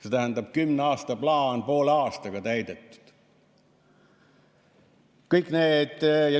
See tähendab, et kümne aasta plaan on poole aastaga täidetud.